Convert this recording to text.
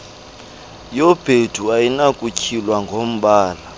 yobhedu ayinakutywinwa ngombala